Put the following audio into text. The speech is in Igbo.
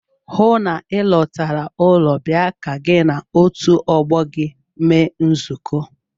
Hụụ na Ị lọtara ụlọ bịa ka gị na otu ọgbọ gị mee nzukọ!